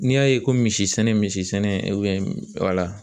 N'i y'a ye ko misi sɛnɛ misi sɛnɛ wala.